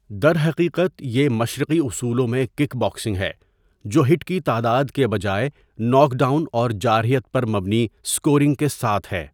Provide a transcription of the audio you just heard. درحقیقت، یہ مشرقی اصولوں میں کِک باکسنگ ہے جو ہٹ کی تعداد کے بجائے ناک ڈاؤن اور جارحیت پر مبنی اسکورنگ کے ساتھ ہے۔